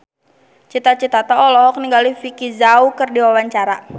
Cita Citata olohok ningali Vicki Zao keur diwawancara